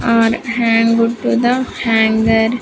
Are hanged to the hanger.